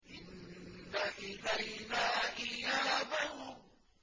إِنَّ إِلَيْنَا إِيَابَهُمْ